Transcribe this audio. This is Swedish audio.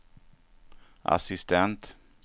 assistent